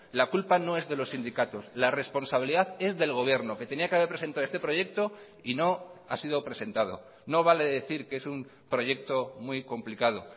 la culpa no es de los sindicatos la responsabilidad es del gobierno que tenía que haber presentado este proyecto y no ha sido presentado no vale decir que es un proyecto muy complicado